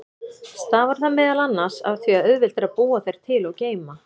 Stafar það meðal annars af því að auðvelt er að búa þær til og geyma.